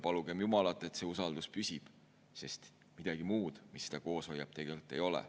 Palugem jumalat, et see usaldus püsib, sest midagi muud, mis seda koos hoiab, tegelikult ei ole.